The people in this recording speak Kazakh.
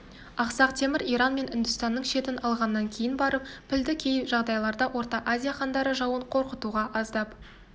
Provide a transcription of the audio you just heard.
ақсақ темір иран мен үндістанның шетін алғаннан кейін барып пілді кей жағдайларда орта азия хандары жауын қорқытуға аздап